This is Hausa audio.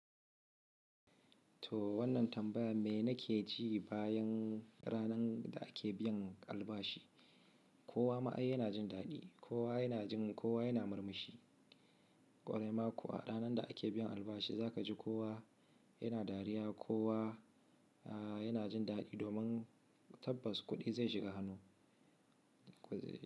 To wannan tambaya mena ke ji bayan ranar da ake biyan albashi. Kowa ma'ai yana jin daɗi, kowa yana jin, kowa yana murmushi. Kwarai ma ko a ranar da ake biyan albashi za ka ji kowa yana dariya ko yana jin daɗi domin tabbas kuɗi zai shiga hannu.